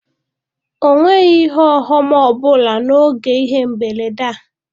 Ọ nwere ihe ọghọm ọ bụla n'oge ihe mberede a.